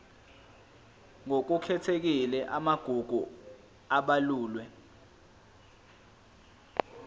ngokukhethekile amagugu abalulwe